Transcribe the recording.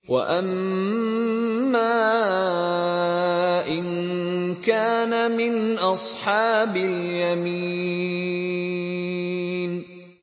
وَأَمَّا إِن كَانَ مِنْ أَصْحَابِ الْيَمِينِ